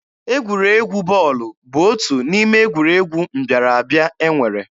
Egwuregwu bọọlụ bụ otu n'ime egwuregwu mbịara abịa e nwere.